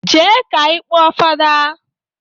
Jee ka ị kpọọ fada!